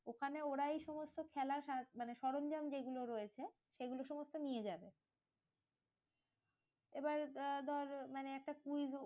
ওখানে ওরাই সমস্ত খেলার সাজ মানে সরঞ্জাম যেগুলো রয়েছে সেগুলো সমস্ত নিয়ে যাবে। এবার ব্য ধর মানে একটা quiz